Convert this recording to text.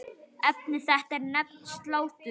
Efni þetta er nefnt slátur.